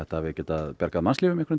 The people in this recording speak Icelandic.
bjargað mannslífum í